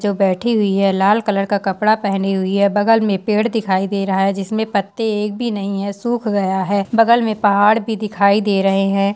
जो बैठी हुई है लाल कलर का कपड़ा पहने हुई है बगल में पेड़ दिखाई दे रहा है जिसमें पत्ते एक भी नहीं हैं सुख गया है बगल में पहाड़ भी दिखाई दे रहे हैं।